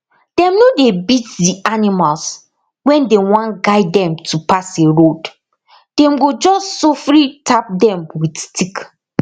dem no dey beat d animals when dem wan guide them to pass a road dem go just sofri tap dem with stick